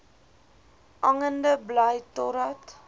hangende bly totdat